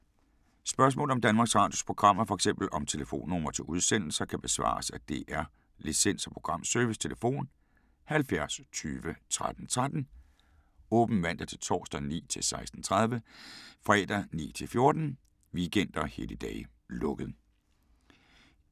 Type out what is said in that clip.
Spørgsmål om Danmarks Radios programmer, f.eks. om telefonnumre til udsendelser, kan besvares af DR Licens- og Programservice: tlf. 70 20 13 13, åbent mandag-torsdag 9.00-16.30, fredag 9.00-14.00, weekender og helligdage: lukket.